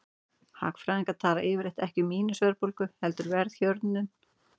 Hagfræðingar tala yfirleitt ekki um mínus-verðbólgu heldur verðhjöðnun.